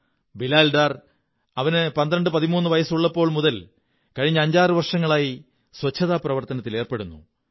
ബിലാൽ ഡർ അവന് 1213 വയസ്സുള്ളപ്പോൾ മുതൽ കഴിഞ്ഞ 56 വര്ഷങങ്ങളായി ശുചിത്വ പ്രവര്ത്ത്നത്തിലേര്പ്പെ ടുന്നു